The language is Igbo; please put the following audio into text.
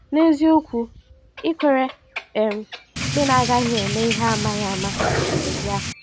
N’eziokwu, ị kwere um ikpe na agaghị eme ihe amaghị ama ya.